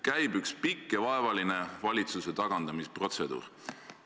Käib üks pikk ja vaevaline valitsuse tagandamisprotseduur.